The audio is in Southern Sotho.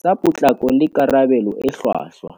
tsa potlako le karabelo e hlwahlwa.